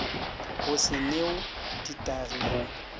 go se new ditagi go